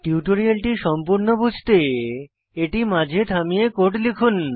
টিউটোরিয়ালটি সম্পূর্ণ বুঝতে এটি মাঝে থামিয়ে কোড লিখুন